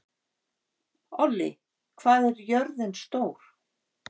Ollý, hvað er jörðin stór?